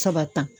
Saba ta